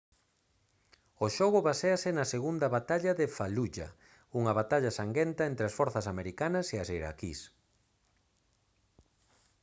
o xogo baséase na segunda batalla de fallujah unha batalla sanguenta entre as forzas americanas e as iraquís